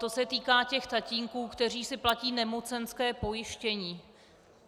To se týká těch tatínků, kteří si platí nemocenské pojištění.